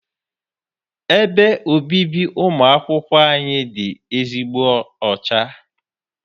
Ebe obibi ụmụ akwụkwọ anyị dị ezigbo ọcha.